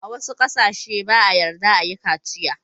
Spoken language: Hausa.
A wassu kasance ba'a yarda a yi kaciya.